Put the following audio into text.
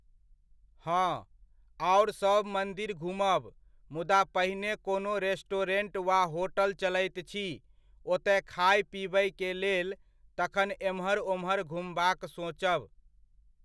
हँ, आओर सब मन्दिर घूमब, मुदा पहिने कोनो रेस्टोरेंट वा होटल चलैत छी, ओतय खाय पीबयकेलेल, तखन एम्हर ओम्हर घूमबाक सोचब।